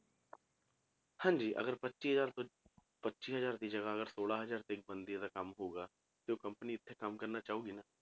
ਹਾਂਜੀ ਅਗਰ ਪੱਚੀ ਹਜ਼ਾਰ ਰੁਪਏ ਪੱਚੀ ਹਜ਼ਾਰ ਦੀ ਜਗ੍ਹਾ ਅਗਰ ਛੋਲਾਂ ਹਜ਼ਾਰ ਤੱਕ ਬਣਦੀ ਹੈ ਤਾਂ ਕੰਮ ਹੋਊਗਾ ਜੇ ਉਹ company ਇੱਥੇ ਕੰਮ ਕਰਨਾ ਚਾਹੇਗੀ ਨਾ,